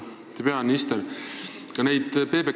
Auväärt peaminister!